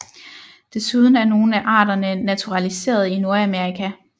Desuden er nogle af arterne naturaliseret i Nordamerika